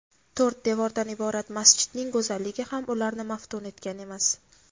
To‘rt devordan iborat masjidning go‘zalligi ham ularni maftun etgan emas.